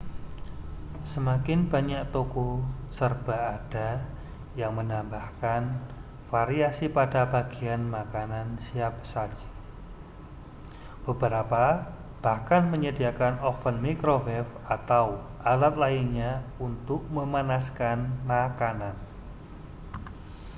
semakin banyak toko serba ada yang menambahkan variasi pada bagian makanan siap saji beberapa bahkan menyediakan oven microwave atau alat lainnya untuk memanaskan makanan